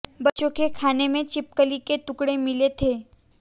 बच्चों के खाने में छिपकली के टुकड़े मिले थे